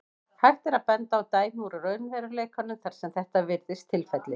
Hægt er að benda á dæmi úr raunveruleikanum þar sem þetta virðist tilfellið.